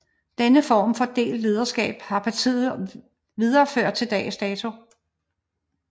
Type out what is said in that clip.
Denne form for delt lederskab har partiet videreført til dags dato